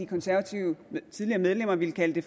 konservative medlemmer ville kalde